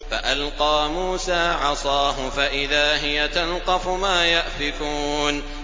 فَأَلْقَىٰ مُوسَىٰ عَصَاهُ فَإِذَا هِيَ تَلْقَفُ مَا يَأْفِكُونَ